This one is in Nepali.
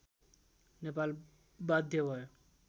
नेपाल बाध्य भयो